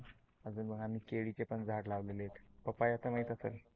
अजून आम्ही केळीचे पण झाड लावलेले आहेत. पपया तर माहित असेल